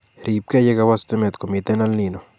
Riibke yekawo stimet komitei EL Nino